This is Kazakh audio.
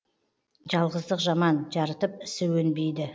жалғыздық жаман жарытып ісі өнбейді